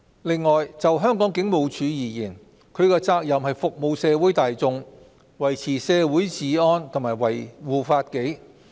此外，就香港警務處而言，其責任是服務社會大眾，維持社會治安及維護法紀。